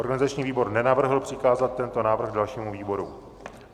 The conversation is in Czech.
Organizační výbor nenavrhl přikázat tento návrh dalšímu výboru.